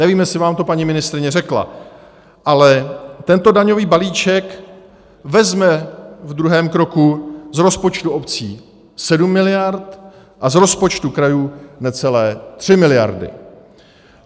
Nevím, jestli vám to paní ministryně řekla, ale tento daňový balíček vezme v druhém kroku z rozpočtu obcí 7 miliard a z rozpočtu krajů necelé 3 miliardy.